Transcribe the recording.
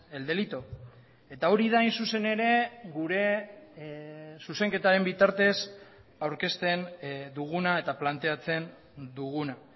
el delito eta hori da hain zuzen ere gure zuzenketaren bitartez aurkezten duguna eta planteatzen duguna